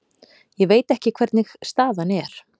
Ég veit ekki hvernig staðan er.